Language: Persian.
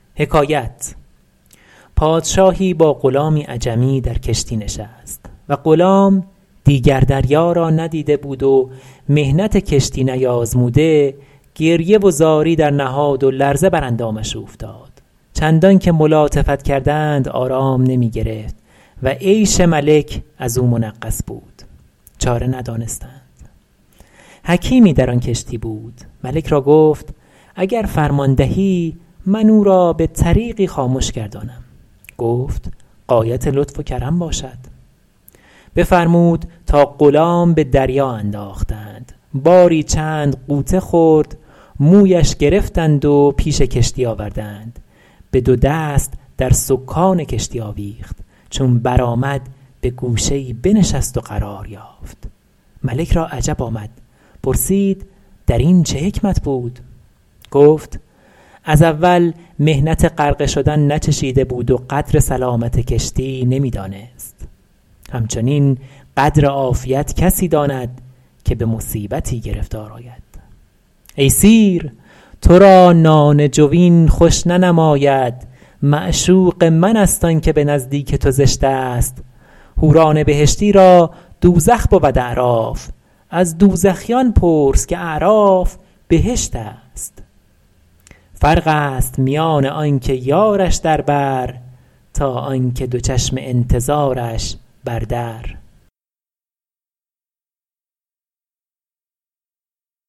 پادشاهی با غلامی عجمی در کشتی نشست و غلام دیگر دریا را ندیده بود و محنت کشتی نیازموده گریه و زاری درنهاد و لرزه بر اندامش اوفتاد چندان که ملاطفت کردند آرام نمی گرفت و عیش ملک از او منغص بود چاره ندانستند حکیمی در آن کشتی بود ملک را گفت اگر فرمان دهی من او را به طریقی خامش گردانم گفت غایت لطف و کرم باشد بفرمود تا غلام به دریا انداختند باری چند غوطه خورد مویش گرفتند و پیش کشتی آوردند به دو دست در سکان کشتی آویخت چون برآمد به گوشه ای بنشست و قرار یافت ملک را عجب آمد پرسید در این چه حکمت بود گفت از اول محنت غرقه شدن ناچشیده بود و قدر سلامت کشتی نمی دانست همچنین قدر عافیت کسی داند که به مصیبتی گرفتار آید ای سیر تو را نان جوین خوش ننماید معشوق من است آن که به نزدیک تو زشت است حوران بهشتی را دوزخ بود اعراف از دوزخیان پرس که اعراف بهشت است فرق است میان آن که یارش در بر تا آن که دو چشم انتظارش بر در